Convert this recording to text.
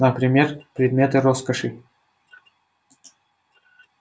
например предметы роскоши